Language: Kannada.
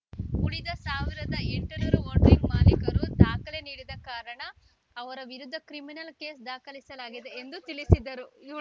ಉಳಿದ ಸಾವಿರದ ಎಂಟುನೂರು ಹೋರ್ಡಿಂಗ್ ಮಾಲೀಕರು ದಾಖಲೆ ನೀಡದ ಕಾರಣ ಅವರ ವಿರುದ್ಧ ಕ್ರಿಮಿನಲ್‌ ಕೇಸ್‌ ದಾಖಲಿಸಲಾಗಿದೆ ಎಂದು ತಿಳಿಸಿದರು